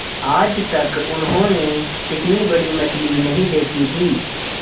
आज तक उन्होंने इतनी बड़ी मछली नहीं देखी थी